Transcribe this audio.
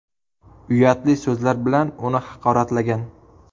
uyatli so‘zlar bilan uni haqoratlagan.